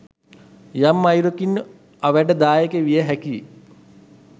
යම් අයුරකින් අවැඩ දායක විය හැකියි